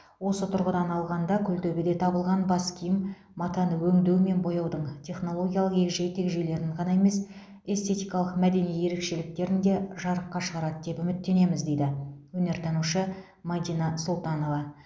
осы тұрғыдан алғанда күлтөбеде табылған бас киім матаны өңдеу мен бояудың технологиялық егжей тегжейлерін ғана емес эстетикалық мәдени ерекшеліктерін де жарыққа шығарады деп үміттенеміз дейді өнертанушы мәдина сұлтанова